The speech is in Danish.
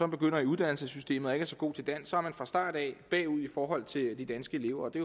begynder i uddannelsessystemet og ikke er så god til dansk så fra starten af er bagud i forhold til de danske elever og det